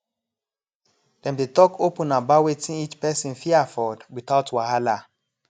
dem dey talk open about wetin each person fit afford without wahala